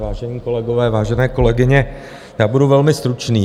Vážení kolegové, vážené kolegyně, já budu velmi stručný.